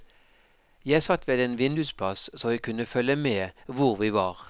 Jeg satt ved en vindusplass, så jeg kunne følge med hvor vi var.